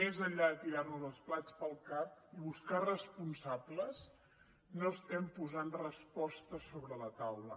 més enllà de tirar nos els plats pel cap i buscar responsables no estem posant respostes sobre la taula